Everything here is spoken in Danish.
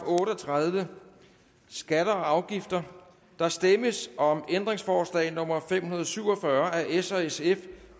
otte og tredive skatter og afgifter der stemmes om ændringsforslag nummer fem hundrede og syv og fyrre af s og sf